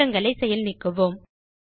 மாற்றங்களை செயல் நீக்குவோம்